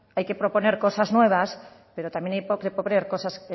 hay que proponer cosas nuevas pero también hay que proponer cosas